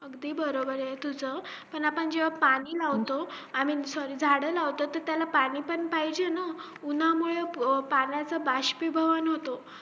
अगदीबरोबर आहे तुझं पण आपण जेव्हा पाणी लावतो sorry झाड लावतो तर त्याला पाणी पण पाहिजे ना उंन्हामुळे पाण्याचं बाष्पीभवन होतो